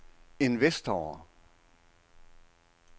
investorer